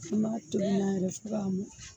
Fɔ na tobi na yɛrɛ fɔ k'a ma